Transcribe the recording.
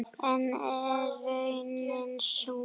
En er raunin sú?